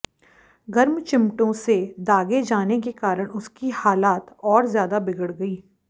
गर्म चिमटों से दागे जाने के कारण उसकी हालात और ज्यादा बिगड़ गई